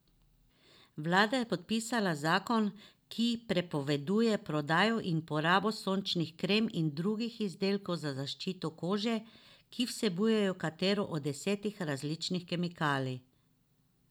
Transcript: Vlada je podpisala zakon, ki prepoveduje prodajo in uporabo sončnih krem in drugih izdelkov za zaščito kože, ki vsebujejo katero od deset različnih kemikalij.